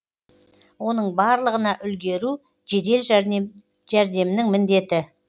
оның барлығына үлгеру жедел жәрдемнің міндеті